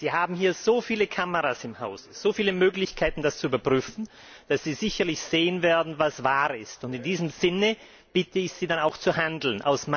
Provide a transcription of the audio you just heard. Sie haben hier so viele Kameras im Haus, so viele Möglichkeiten, das zu überprüfen, dass Sie sicherlich sehen werden, was wahr ist. In diesem Sinne bitte ich Sie, dann auch zu handeln.